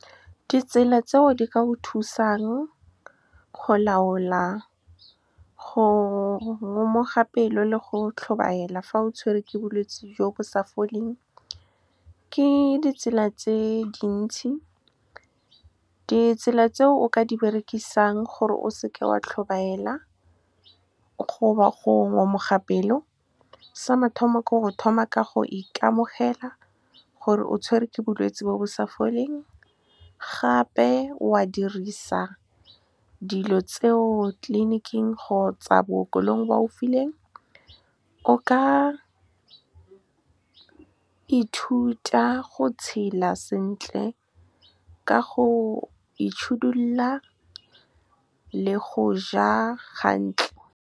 Ditsela tseo di ka o thusang go laola go ngomoga pelo le go tlhobaela fa o tshwere ke bolwetse jo bo sa foleng ke ditsela tse dintsi. Ditsela tse o ka di berekisang gore o seke wa tlhobaela goba go ngomoga pelo, sa mathomo ke go thoma ka go ikamogela gore o tshwerwe ke bolwetse bo bo sa foleng. Gape o a dirisa dilo tseo tleliniking kgotsa bookelong ba go fileng. O ka ithuta go tshela sentle ka go le go ja . Ditsela tseo di ka o thusang go laola go ngomoga pelo le go tlhobaela fa o tshwere ke bolwetse jo bo sa foleng ke ditsela tse dintsi. Ditsela tse o ka di berekisang gore o seke wa tlhobaela goba go ngomoga pelo, sa mathomo ke go thoma ka go ikamogela gore o tshwerwe ke bolwetse bo bo sa foleng. Gape o a dirisa dilo tseo tleliniking kgotsa bookelong ba go fileng. O ka ithuta go tshela sentle ka go le go ja .